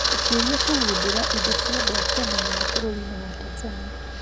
Mũtuĩria kũgundũra indo cia andũ a tene mũno bũrũri-inĩ wa Tanzania